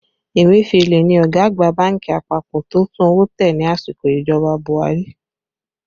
Emefiele ni ọ̀gá àgbà bánkì àpapọ̀ tó tún owó tẹ ní àsìkò ìjọba Buhari